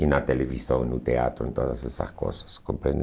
E na televisão, no teatro, em todas essas coisas, compreende?